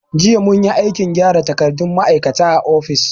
Jiya munyi aikin gyara takardun ma'aikata a ofis.